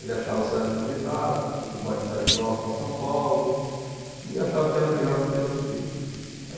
Ele achava a cidade muito agitada, Atibaia era uma cidade próxima a São Paulo, e achava que era melhor para cuidar dos filhos.